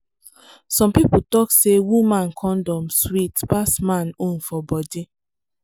some people talk say woman condom sweet pass man own for body.